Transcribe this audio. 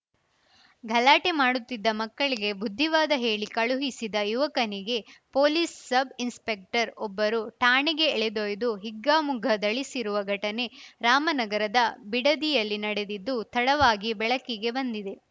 ಗಲಾಟೆ ಮಾಡುತ್ತಿದ್ದ ಮಕ್ಕಳಿಗೆ ಬುದ್ಧಿವಾದ ಹೇಳಿ ಕಳುಹಿಸಿದ ಯುವಕನಿಗೆ ಪೊಲೀಸ್‌ ಸಬ್‌ ಇನ್ಸ್‌ಪೆಕ್ಟರ್‌ ಒಬ್ಬರು ಠಾಣೆಗೆ ಎಳೆದೊಯ್ದು ಹಿಗ್ಗಾಮುಗ್ಗ ಧಳಿಸಿರುವ ಘಟನೆ ರಾಮನಗರದ ಬಿಡದಿಯಲ್ಲಿ ನಡೆದಿದ್ದು ತಡವಾಗಿ ಬೆಳಕಿಗೆ ಬಂದಿದೆ